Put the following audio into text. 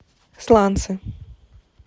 сланцы